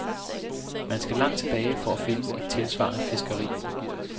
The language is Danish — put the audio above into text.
Man skal langt tilbage for at finde et tilsvarende fiskeri.